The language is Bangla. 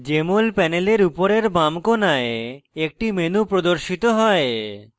jmol panel উপরের বাম কোণায় একটি menu প্রদর্শিত হয়